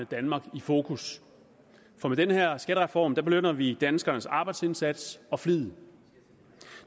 danmark i fokus for med den her skattereform belønner vi danskernes arbejdsindsats og flid